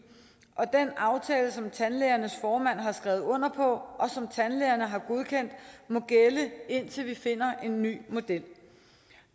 og den aftale som tandlægernes formand har skrevet under på og som tandlægerne har godkendt må gælde indtil vi finder en ny model